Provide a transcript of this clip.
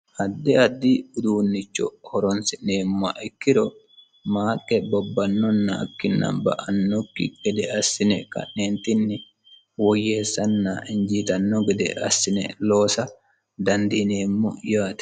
Addi addi uduunnicho horonsi'neemmoha ikkiro maaqqe bobbanokkina ba"anokki gede assine ka'neentinni woyyeesanna injiitanno gede assine loosa dandiinemmo yaate.